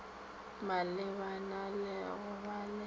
malebana le go ba le